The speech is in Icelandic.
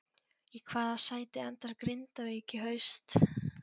Í hvaða sæti endar Grindavík í haust?